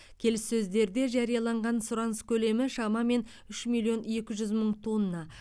келіссөздерде жарияланған сұраныс көлемі шамамен үш миллион екі жүз мың тонна